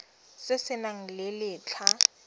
se se nang le letlha